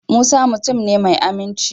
Musa mutum ne mai aminci.